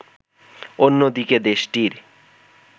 অন্যদিকে দেশটির